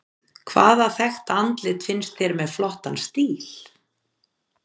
Hvaða þekkta andlit finnst þér með flottan stíl?